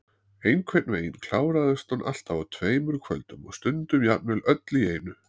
Einhvern veginn kláraðist hún alltaf á tveimur kvöldum og stundum jafnvel öll í einu.